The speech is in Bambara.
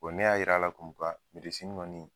ne y'a yir'a la kɔni.